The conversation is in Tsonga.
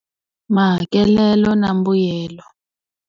Mahakelelo na mbuyelo.